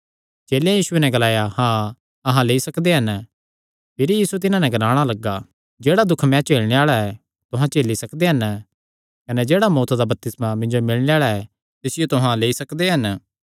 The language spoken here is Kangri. चेलेयां यीशुये नैं ग्लाया हाँ अहां करी सकदे हन यीशु तिन्हां नैं ग्लाणा लग्गा जेह्ड़ा दुख मैं झेलणे आल़ा ऐ तुहां झेली सकदे हन कने जेह्ड़ा मौत्त दा बपतिस्मा मिन्जो मिलणे आल़ा ऐ तिसियो तुहां लेई सकदे हन